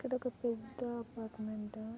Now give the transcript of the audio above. ఇక్కడొక పెద్ద అపార్టుమెంటు --